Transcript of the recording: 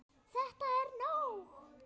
ÞETTA ER NÓG!